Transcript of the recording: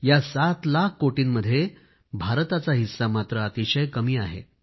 या सात लाख कोटींमध्ये भारताचा हिस्सा अतिशय कमी आहे